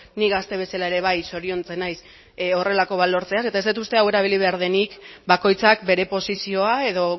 ni gazte bezala ere bai zoriontzen naiz honelako bat lortzeaz eta ez dut uste hau erabili behar denik bakoitzak bere posizioa edo